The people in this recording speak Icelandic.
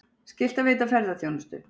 Skylt að veita ferðaþjónustu